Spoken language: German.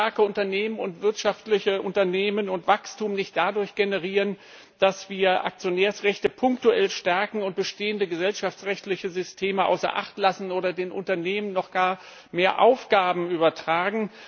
Wir können starke Unternehmen und wirtschaftliche Unternehmen und Wachstum nicht dadurch generieren, dass wir Aktionärsrechte punktuell stärken und bestehende gesellschaftsrechtliche Systeme außer Acht lassen oder den Unternehmen gar noch mehr Aufgaben übertragen.